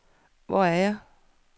Hvor er jeg